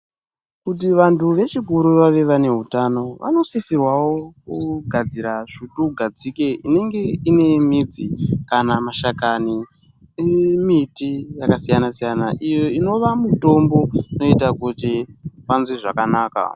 Kuti vantu vechikuru vave vane utano vanosisirwawo kugadzira svutugadzike inenge ine midzi kana mashakani emuti yakasiyana siyana iyo Inova mitombo inoita kuti vanzwe zvakanaka.